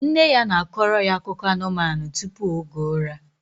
Nne ya na-akọro ya akụkọ anụmanụ tupu oge ụra